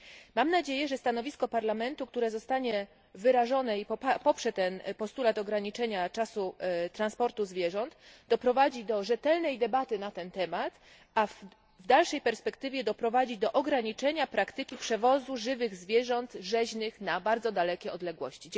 Mam nadzieję, że stanowisko Parlamentu, które zostanie wyrażone i poprze ten postulat ograniczenia czasu transportu zwierząt, doprowadzi do rzetelnej debaty na ten temat, a w dalszej perspektywie doprowadzi do ograniczenia praktyki przewozu żywych zwierząt rzeźnych na bardzo dalekie odległości.